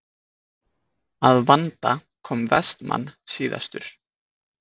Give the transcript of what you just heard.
Að vanda kom Vestmann síðastur.